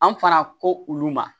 An fana ko olu ma